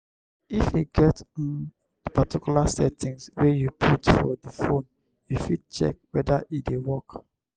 if e get um di particular settings wey you put for di phone you fit check weda e dey work